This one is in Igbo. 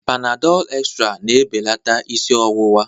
Panadal extral na-ebelata isi ọwụwa